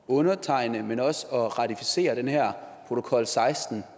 undertegne men også nægter at ratificere den her protokol seksten